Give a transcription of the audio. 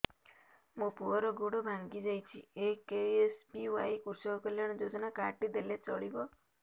ମୋ ପୁଅର ଗୋଡ଼ ଭାଙ୍ଗି ଯାଇଛି ଏ କେ.ଏସ୍.ବି.ୱାଇ କୃଷକ କଲ୍ୟାଣ ଯୋଜନା କାର୍ଡ ଟି ଦେଲେ ଚଳିବ